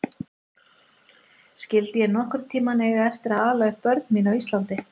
Skyldi ég nokkurn tíma eiga eftir að ala upp börn mín á Íslandi?